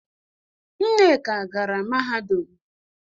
Nneka gara mahadum.